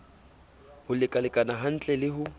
ho lekalekana hantle le ho